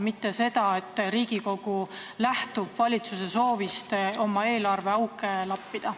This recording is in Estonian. Mitte nii, et Riigikogu lähtub valitsuse soovist eelarveauke lappida.